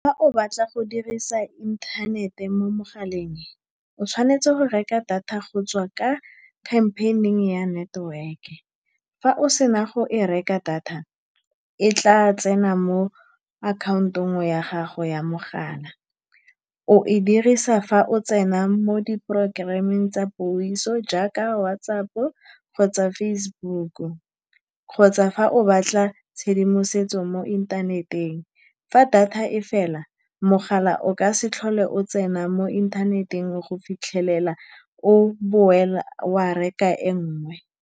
Fa o batla go dirisa inthanete mo mogaleng, o tshwanetse go reka data go tswa ka campaign-ing ya network-e. Fa o sena go e reka, data e tla tsena mo akhaontong ya gago ya mogala, o e dirisa fa o tsena mo di program-eng tsa puiso jaaka WhatsApp-o kgotsa Facebook-o, kgotsa fa o batla tshedimosetso mo inthaneteng. Fa data e fela, mogala o ka se tlhole o tsena mo inthaneteng go fitlhelela o boela wa reka e nngwe.